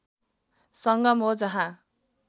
संगम हो जहाँ